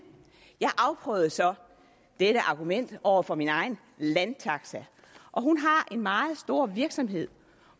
jeg afprøvede så dette argument over for min egen landtaxa og hun har en meget stor virksomhed